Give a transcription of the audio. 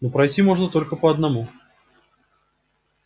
но пройти можно только по одному